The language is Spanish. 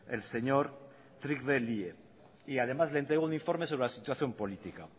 el señor trygve lie y además le entregó un informe sobre la situación política